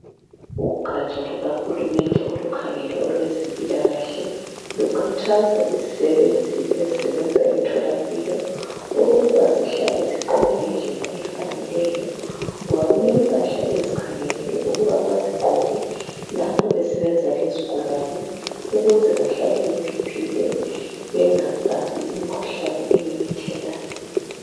Ugatsha luka Hulumende olukhangele olwezempilakahle lukhuthaza izisebenzi ezisebenza emtholampilo ukuba zihlale zigqoke ngendlela efaneleyo ngoba kulempahla abazikhangelelwe ukuba bazigqoke lapho besebenza lezigulane ukuze bahlale bephephile bengabambi imkhuhlane ememethekayo.